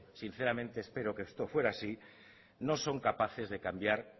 sinceramente espero que esto fuera así no son capaces de cambiar